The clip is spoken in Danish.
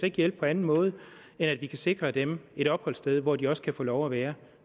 ikke hjælpe på anden måde end at vi kan sikre dem et opholdssted hvor de også kan få lov at være